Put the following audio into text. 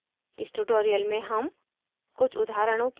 इस tutorial में हम